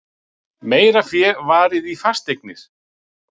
Meira fé varið í fasteignir